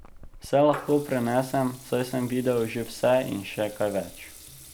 Vse lahko prenesem, saj sem videl že vse in še kaj več.